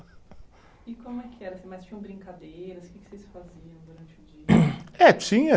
E como é que era, assim, mas tinham brincadeiras, que que vocês faziam durante o dia? É, tinha